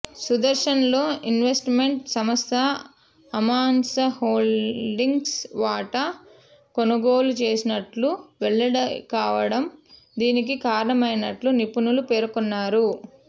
సుదర్శన్లో investment సంస్థ Amansa Holdings వాటా కొనుగోలు చేసినట్లు వెల్లడికావడం దీనికి కారణమైనట్లు నిపుణులు పేర్కొన్నారు